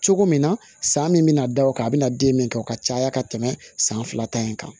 Cogo min na san min bɛna da o kan a bɛ na den min kɛ o ka caya ka tɛmɛ san fila ta in kan